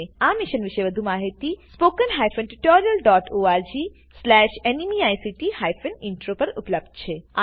આ મિશન પરની વધુ માહિતી spoken tutorialorgnmeict ઇન્ટ્રો પર ઉપલબ્ધ છે